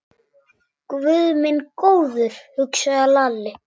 Guð minn góður, hugsaði Lalli.